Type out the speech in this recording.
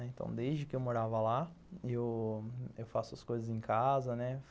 Então, desde que eu morava lá, eu eu faço as coisas em casa.